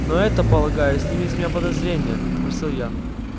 но это полагаю снимет с меня все подозрения спросил я